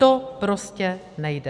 To prostě nejde.